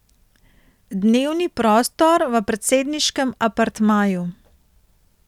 Dnevni prostor v predsedniškem apartmaju.